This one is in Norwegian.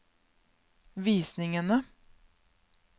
visningene